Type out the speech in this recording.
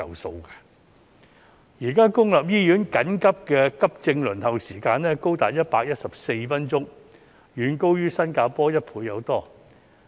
現時公立醫院緊急急症服務平均輪候時間高達114分鐘，遠高於新加坡1倍有多。